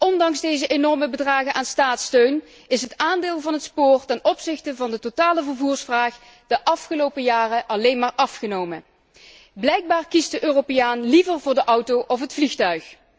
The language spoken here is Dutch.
Ondanks deze enorme bedragen aan staatssteun, is het aandeel van het spoor ten opzichte van de totale vervoersvraag de afgelopen jaren alleen maar afgenomen. Blijkbaar kiest de Europeaan liever voor de auto of het vliegtuig.